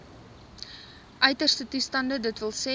uiterste toestande dws